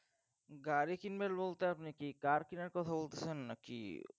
গাড়ী কিনবো নাকি car কেনার কথা বলতেছন নাকি